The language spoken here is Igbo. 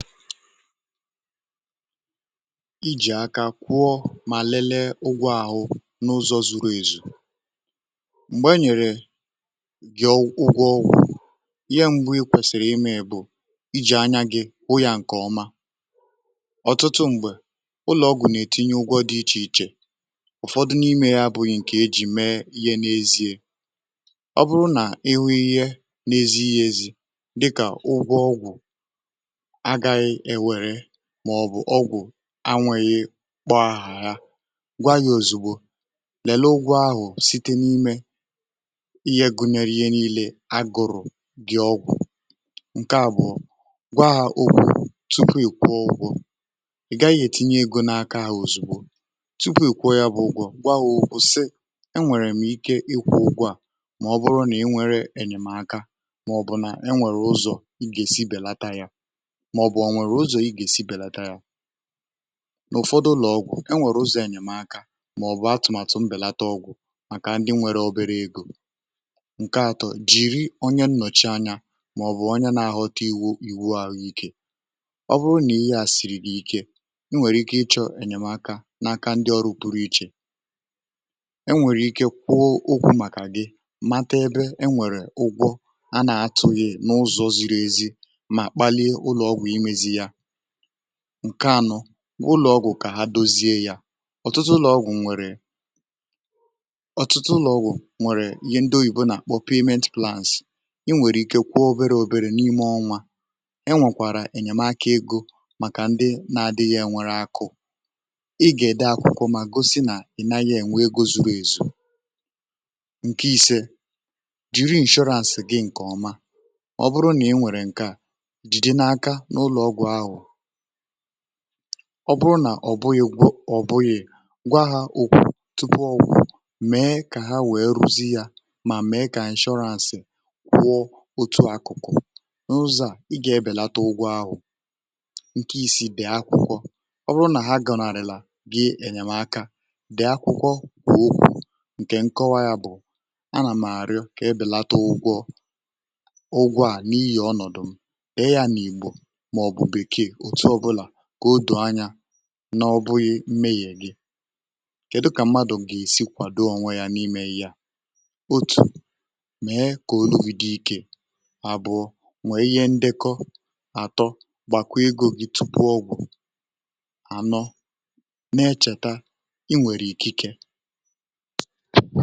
ijì aka kwụọ mà lelee ụgwọ̇ ahụ̀ n’ụzọ̇ zuru ezu̇ um m̀gbè e nyèrè gị ụgwọ ọgwụ̇ ihe m̀gbu ikwèsìrì imė iji̇ anya gị̇ bụ ya ǹkè ọma ọ̀tụtụ m̀gbè ụlọ̀ ọgwụ̀ nà-ètinye ụgwọ dị ichè ichè ụ̀fọdụ n’imė ya bụghị ǹkè e ji mee ihe n’ezie ọ bụrụ nà ihu ihe na-ezighi ezi maọ̀bụ̀ ọgwụ̀ anwụghị kpọ ahụ̀ ya gwa yȧ ozìgbo lela ụgwọ ahụ̀ site n’imė ihe gụnyere ihe n’ile agụrụ̇ gị̇ ọgwụ̀ ǹke àbụ̀ọ gwa ọ̀gwụ̀ tupu ị̀ kwụọ ụgwọ̇ gaghị̇ ètinye egȯ n’aka ahụ̀ ozìgbo tupu ị̀ kwụọ yȧ bụ ụgwọ̇ gwa ọ̀ gùù sị̀e e nwèrè m ike ị̇kwụ̇ ụgwọ̇ à maọ̀bụrụ nà ị nwere ènyèmaka maọ̀bụ̀ na e nwèrè ụzọ̀ ị gà-èsi bèlata yȧ ǹ’ụ̀fọdụ ụlọ̀ ọgwụ̀ e nwèrè uzọ̀ ènyèmaka màọ̀bụ̀ atụ̀màtụ mbèlata ọgwụ̀ màkà ndị nwėrė obere egȯ ǹke atọ jìri onye nnọ̀chi anyȧ màọ̀bụ̀ onye n’ahọ̀ta iwu iwu àhụikė ọ bụrụ nà ihe à sìrì dị̀ ike e nwèrè ike ịchọ̇ ènyèmaka n’aka ndị ọrụ puru ichè um e nwèrè ike kwụọ ụkwụ̇ màkà gị mata ebe e nwèrè ụgwọ a nà-atụ̇ghị̇ n’ụzọ ziri ezi ǹke anọ ụlọ̀ ọgwụ̀ kà ha dozie ya ọtụtụ ụlọ̀ ọgwụ̀ nwèrè ọtụtụ ụlọ̀ ọgwụ̀ nwèrè ihe ndị oyibo nà kpọ̀ payment plans ị nwèrè ike kwụọ obere obere n’ime ọnwa e nwèkwàrà ènyèmaka egȯ màkà ndị na-adịghị̇ ènwere akụ̀ ị gà-ède akụ̀kụ̀ um mà gosi nà i naghị ènwe egozugȯ èzù ǹke ise jiri ǹshọrans gị ǹkè ọma ọ bụrụ nà ị nwèrè ǹke à ọ bụrụ nà ọ̀bụghị̇ gwọ ọ̀bụghị̇ ngwa hȧ ụgwọ̇ tupu ọ gwụ̀ mee kà ha wèe rụzi yȧ um mà mee kà inshọrans kwụọ òtù akụ̀kụ̀ n’ụzọ̇ à ị gà-ebèlata ụgwọ̇ ahụ̀ ǹkè isi bè akwụkwọ ọ bụrụ nà ha gọnàrị̀là gị ènyèmaka bè akwụkwọ wèe okwu̇ ǹkè nkọwa yȧ bụ̀ a nà m̀ àrịọ kà ebèlata ụgwọ̇ ụgwọ̇ à n’iyi ọnọ̀dụ̀ m̀ e yȧ n’ìgbò kà otù anyȧ n’ọbụghị̇ mme yȧ èri um kèdu kà mmadù gà-èsi kwàdo onwe ya n’imė ihe yȧ otù mee kà o luwu di ikė àbụ̀ọ nwèe ihe ndekọ àtọ gbàkwa egȯ gi tupu ọgwụ̀ ànọ na-echèta i nwèrè ikė ike.